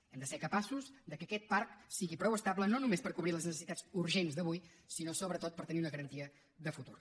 hem de ser capaços que aquest parc sigui prou estable no només per cobrir les necessitats urgents d’avui sinó sobretot per tenir una garantia de futur